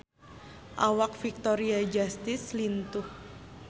Awak Victoria Justice lintuh